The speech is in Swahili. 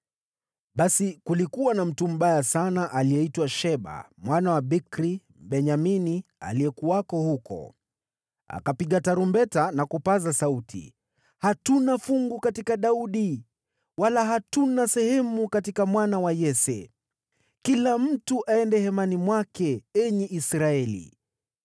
Basi, kulikuwa na mtu mbaya sana aliyeitwa Sheba mwana wa Bikri, Mbenyamini, aliyekuwako huko. Akapiga tarumbeta na kupaza sauti, “Hatuna fungu katika Daudi, wala hatuna sehemu katika mwana wa Yese! Kila mtu aende hemani mwake, enyi Israeli!”